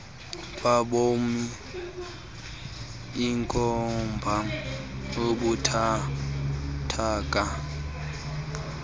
kwaboni ikhomba ubuthathaka